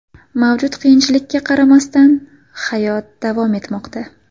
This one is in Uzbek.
Mavjud qiyinchilikka qaramasdan, hayot davom etmoqda.